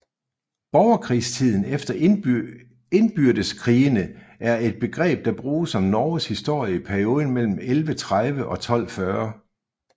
Borgerkrigstiden eller indbyrdeskrigene er et begreb der bruges om Norges historie i perioden mellem 1130 og 1240